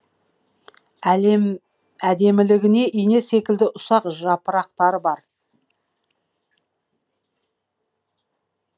әдемілігі ине секілді ұсақ жапырақтары бар